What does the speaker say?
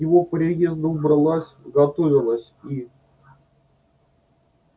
к его приезду убралась готовилась и